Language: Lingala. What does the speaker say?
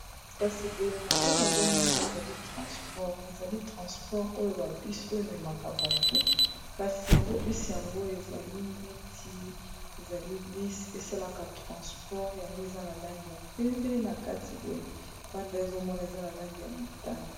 kasi boye na nde nazomona ezali transport ezali transport oyo ba bis oyo ememaka bato kasi yango bisi yango ezali neti ezali bis esalaka transport yango eza na langi ya pembe na kati boye banda ezomona eza na langi ya motane